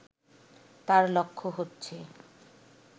তাঁর লক্ষ্য হচ্ছে